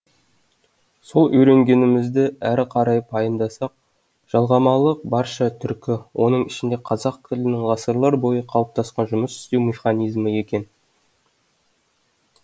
сол үйренгенімізді әрі қарай пайымдасақ жалғамалылық барша түркі оның ішінде қазақ тілінің ғасырлар бойы қалыптасқан жұмыс істеу механизмі екен